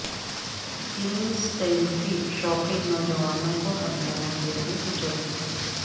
تین سیلفی شوقین نوجوانوں کو ہریانہ ٹرین نے کچل دیا